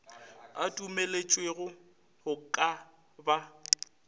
a dumelwetšego go ka ba